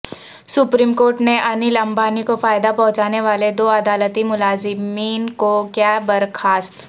supreme court نے انل امبانی کو فائدہ پہنچانے والے دو عدالتی ملازمین کو کیا برخاست